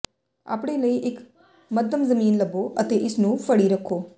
ਆਪਣੇ ਲਈ ਇੱਕ ਮੱਧਮ ਜ਼ਮੀਨ ਲੱਭੋ ਅਤੇ ਇਸ ਨੂੰ ਫੜੀ ਰੱਖੋ